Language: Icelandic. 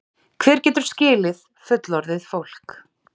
Hver getur skilið fullorðið fólk?